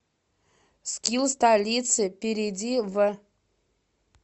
скилл столицы перейди в